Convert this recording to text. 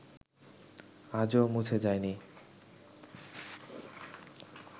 আজও মুছে যায়নি